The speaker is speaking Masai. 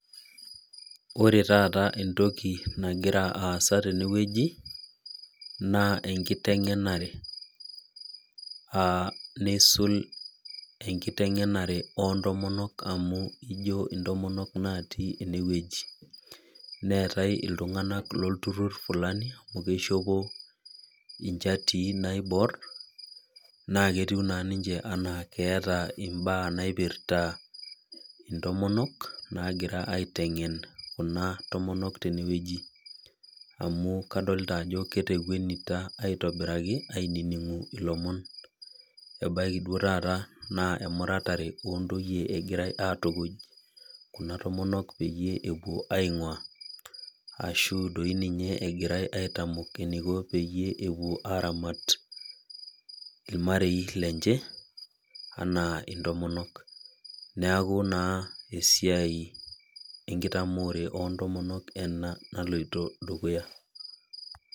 Ore taata entoki nagira aasa tenewueji na enkitengenare naa nisul enkitengenare ontomonok amu ino ninche natii enewueji neetai ltunganak lolturur flani amu ishopo nchatii naibor na ketiu nanninche ana keeta mbaa naipirta ntomonok nagira aitengen ntomonok tenewueji amu kadolta ajo ketekwwnita aitobiraki aningi ilomon ebaki duo taa na emurata ontoyie egirai atukuny kuna tomonok peepuo aingua ashu egirai eniko pepuoi aramat irmarei lemche anaa ntomonok neaku esiaia enkitaamore ontomonok naloito dukuya.